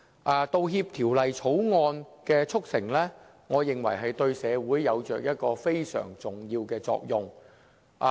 我認為《條例草案》的促成，對社會有着非常重要的作用。